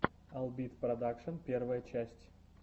албит продакшн первая часть